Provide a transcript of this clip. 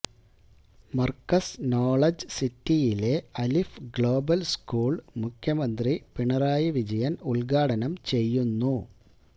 Markaz knowledge സിറ്റിയിലെ Alif global school മുഖ്യമന്ത്രി പിണറായി വിജയൻ ഉദ്ഘാടനം ചെയ്യുന്നു